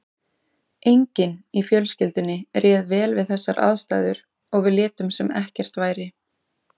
Enginn í fjölskyldunni réð vel við þessar aðstæður og við létum sem ekkert væri.